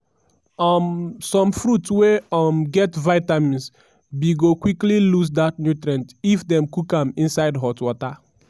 um some fruits wey um get vitamins b go quickly lose dat nutrient if dem cook am inside hot water.